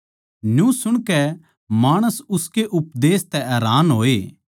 न्यू सुणकै माणस उसके उपदेश तै हैरान होए